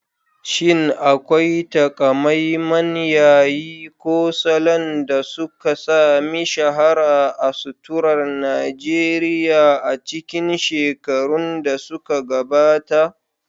Shin akwai taƙamaiman yayi ko salon da suka sami shahara a suturar Najeriya a cikin shekarun da suka gabata?